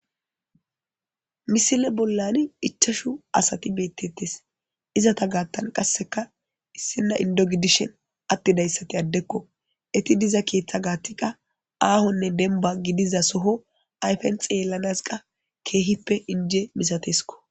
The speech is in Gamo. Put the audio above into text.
Misile bollani ichashu asati beettettis izata gaattan qasseka issinna indo gidishen attidayssati addekko eti diza keeththa gaattiqa aahonne denba gidiza soho ayfen xeellanazi qa keehippe inje misateskko